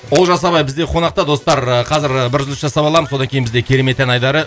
олжас ағай бізде қонақта достар ыыы қазір бір үзіліс жасап аламын содан кейін керемет ән айдары